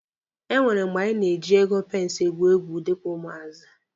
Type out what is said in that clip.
E nwere mgbe anyị na-eji ego pensi egwu egwu dịka ụmụazị.